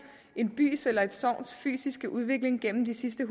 en bys eller et sogns fysiske udvikling gennem de sidste